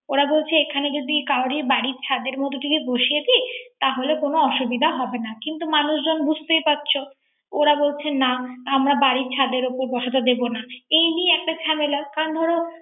ওরা বলছে এখানে যদি কারো বাড়ির ছাদের মধ্যে বসিয়ে দি। তাহলে কোন অসুবিধা হবে না। কিনত মানুষজন বুজতেই পারছো। ওরা বলছে্বে আমরা বাড়ির ছাদে উপর বসাতে দেবো না। এই নিয়ে একটা জামেলা